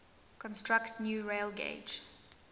construct new railgauge